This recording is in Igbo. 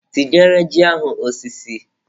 Tinyere ji ahụ osiso.